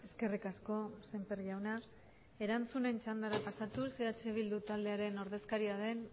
eskerrik asko semper jauna erantzunen txandara pasatuz eh bildu taldearen ordezkaria den